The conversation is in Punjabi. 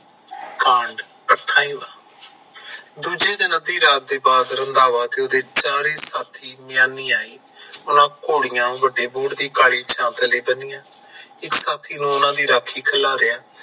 ਦੂਜੇ ਦਿਨ ਅੱਧੀ ਰਾਤ ਤੇ ਬਾਅਦ ਰੰਧਾਵਾ ਤੇ ਉਹਦੇ ਚਾਰੇ ਸਾਥੀ ਉਹਨਾਂ ਘੋੜੀਆਂ ਵਡੀ ਬੋਹੜ ਦੀ ਕਾਲੀ ਛਾਂ ਥੱਲੇ ਬੰਨਿਆ। ਇੱਕ ਸਾਥੀ ਨੂੰ ਉਹਨਾਂ ਦੀ ਰਾਖੀ ਖਿਲਾਰਿਆ।